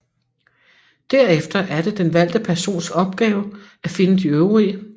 Derefter er det den valgte persons opgave at finde de øvrige